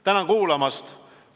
Tänan kuulamast!